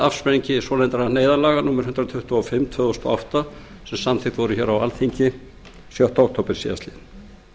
afsprengi laga númer hundrað tuttugu og fimm tvö þúsund og átta svonefndra neyðarlaga sem samþykkt voru á alþingi sjötta október síðastliðinn